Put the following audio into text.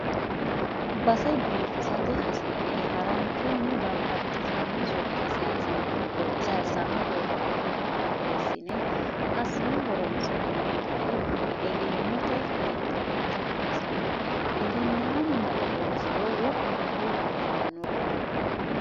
Base biifisate hasi'ne haranchunni babbaxxitino sokka saysano borro iimaho borreessine assine horonsi'nonni gari egennote linxe nootta xawisano egennamu male loosiro wo'munkuri biifanolla.